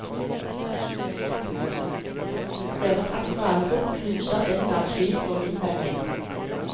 Deres andre album knuser enhver tvil og innvending.